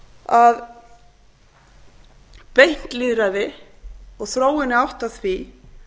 að beint lýðræði og þróun í átt að því